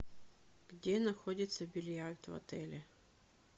где находится бильярд в отеле